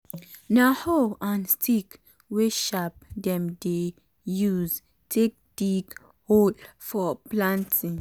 na hoe and stick wey sharp dem dey use take dig hole for planting.